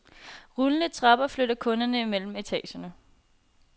Rullende trapper flytter kunderne mellem etagerne.